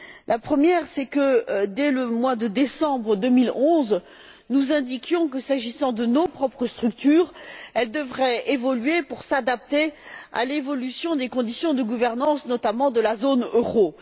La première, c'est que, dès le mois de décembre 2011, nous indiquions que, s'agissant de nos propres structures, elles devraient évoluer pour s'adapter à l'évolution des conditions de gouvernance, notamment de la zone euro.